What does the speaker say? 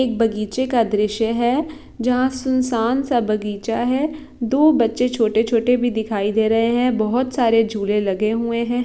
एक बगीचे का दृश्य है जहा सुनसान सा बगीचा है दो बच्चे छोटे-छोटे भी दिखाई दे रहे है बोहोत सारे झूले लगे हुवे है।